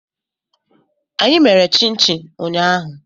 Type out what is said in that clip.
Anyị mèrè chin-chin ụñyahu